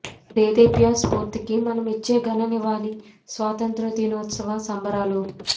ఆ దేదీప్య స్ఫూర్తికి మనమిచ్చే ఘన నివాళి స్వాతంత్ర్య దినోత్సవ సంబరాలు